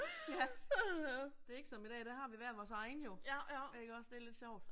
Ja. Det er ikke som i dag, der har vi hver vores egen jo ikke også, det er lidt sjovt